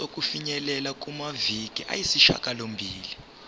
sokufinyelela kumaviki ayisishagalombili